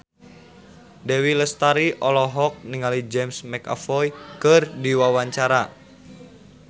Dewi Lestari olohok ningali James McAvoy keur diwawancara